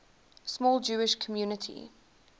small jewish community